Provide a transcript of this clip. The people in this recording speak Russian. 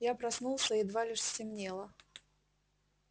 я проснулся едва лишь стемнело